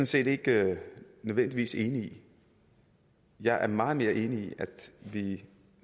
set ikke nødvendigvis enig i jeg er meget mere enig i at vi